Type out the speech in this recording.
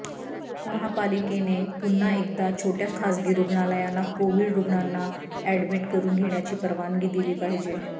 महापालिकेने पुन्हा एकदा छोट्या खासगी रुग्णालयांना कोविड रुग्णांना अॅडमिट करून घेण्याची परवानगी दिली पाहिजे